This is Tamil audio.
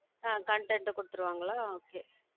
அஹ் content கொடுத்திருவாங்களோ okay